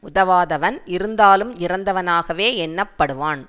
உதவாதவன் இருந்தாலும் இறந்தவனாகவே எண்ணப்படுவான்